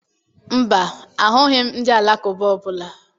Mba, ahụghị m ndị Alakụba ọbụla